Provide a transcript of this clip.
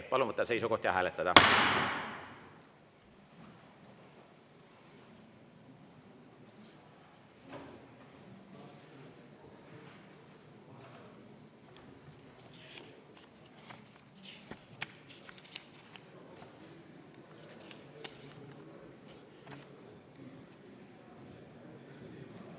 Palun võtta seisukoht ja hääletada!